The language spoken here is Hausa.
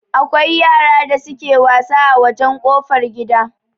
Akwai yara da suke wasa a wajan kofar gida